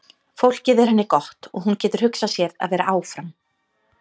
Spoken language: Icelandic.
Fólkið er henni gott og hún getur hugsað sér að vera áfram.